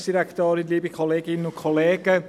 Ich gebe dem Motionär das Wort.